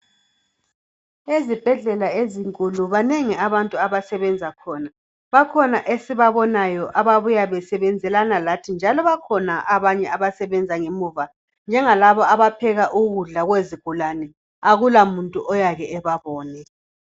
Ezibhedlela ezinkulu, banengi abantu abasebenza khona. Bakhona esibabonayo ababuya besebenzelana lathi, njalo bakhona abanye abasebenza ngemuva, njengalabo abaphekela izigulane, akulamuntu oyake ebabone.